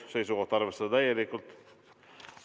Seisukoht: arvestada mõlemat täielikult.